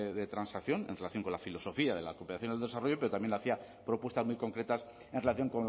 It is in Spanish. de transacción en relación con la filosofía de la cooperación al desarrollo pero también hacía propuestas muy concretas en relación